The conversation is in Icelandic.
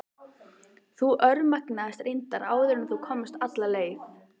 Þú örmagnaðist reyndar áður en þú komst alla leið.